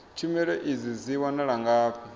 tshumelo idzi dzi wanala ngafhi